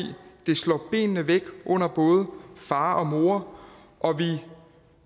det slår benene væk under både far og mor og vi